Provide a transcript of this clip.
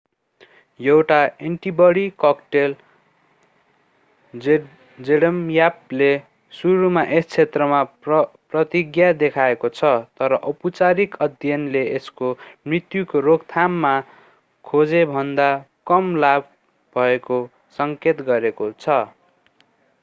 एउटा antibody cocktail जेडम्यापले सुरुमा यस क्षेत्रमा प्रतिज्ञा देखाएको छ तर औपचारिक अध्ययनले यसको मृत्युको रोकथाममा खोजेभन्दा कम लाभ भएको सङ्केत गरेको छ